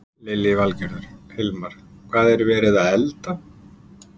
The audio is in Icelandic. Lillý Valgerður: Hilmar, hvað er verið að elda?